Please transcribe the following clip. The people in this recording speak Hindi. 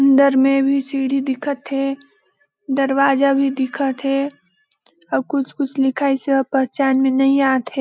अंदर में भी सीढ़ी दिखत हे दरवाजा भी दिखत हे अउ कुछ कुछ लिखइस हे ओ पहचान में नइ आथे।